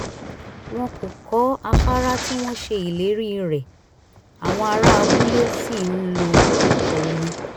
wọ́n kò kọ́ àfárá tí wọ́n ṣe ìlérí rẹ̀ àwọn ará abúlé ṣì ń lo ọkọ̀ omi